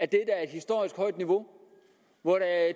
der er et historisk højt niveau hvor der er